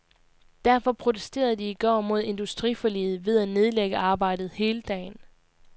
Derfor protesterede de i går mod industriforliget ved at nedlægge arbejdet hele dagen.